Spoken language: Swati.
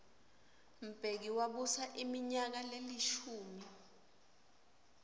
mbeki wabusa iminyaka lelishumi